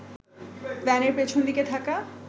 ভ্যানের পেছন দিকে থাকা